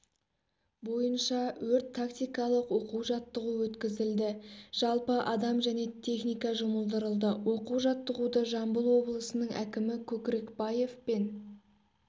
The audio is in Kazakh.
бойынша өрт-тактикалық оқу-жаттығу өткізіліді жалпы адам және техника жұмылдырылды оқу-жаттығуды жамбыл облысының әкімі көкрекбаев пен